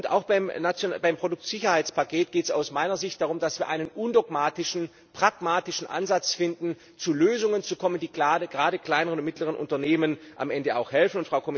Auch beim Produktsicherheitspaket geht es aus meiner Sicht darum, dass wir einen undogmatischen, pragmatischen Ansatz finden, zu Lösungen zu kommen, die gerade kleineren und mittleren Unternehmen am Ende auch helfen.